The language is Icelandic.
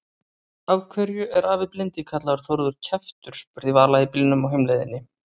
Af hverju er afi blindi kallaður Þórður kjaftur? spurði Vala í bílnum á heimleiðinni.